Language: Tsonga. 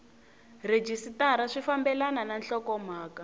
rhejisitara swi fambelena na nhlokomhaka